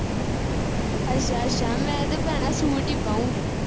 ਅੱਛਾ ਅੱਛਾ ਮੈਂ ਤੇ ਭੈਣਾਂ ਸੂਟ ਈ ਪਾਉਗੀ